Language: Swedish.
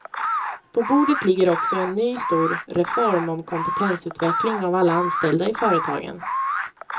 På bordet ligger också en ny stor reform om kompetensutveckling av alla anställda i företagen.